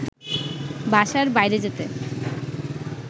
বাসার বাইরে যেতে